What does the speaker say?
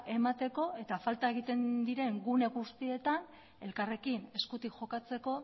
emateko eta falta egiten diren gune guztietan elkarrekin eskutik jokatzeko